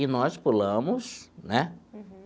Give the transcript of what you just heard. E nós pulamos, né? Uhum.